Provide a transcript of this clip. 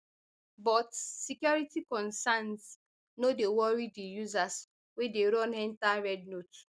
but security concerns no dey worry di users wey dey run enta rednote